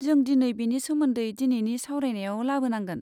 जों दिनै बेनि सोमोन्दै दिनैनि सावरायनायाव लाबोनांगोन।